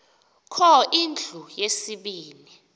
kho indlu yesibini